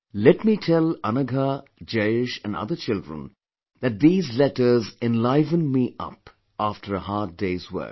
Let me tell Anagha, Jayesh & other children that these letters enliven me up after a hard day's work